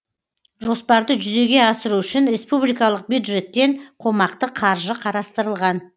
жоспарды жүзеге асыру үшін республикалық бюджеттен қомақты қаржы қарастырылған